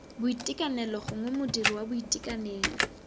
boitekanelo gongwe modiri wa boitekanelo